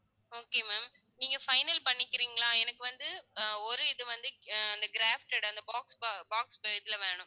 okay ma'am நீங்க final பண்ணிக்கிறீங்களா எனக்கு வந்து அஹ் ஒரு இது வந்து அஹ் அந்த crafted அந்த box ப~ box இதுல வேணும்.